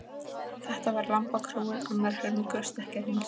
Þetta var lambakróin, annar helmingur stekkjarins.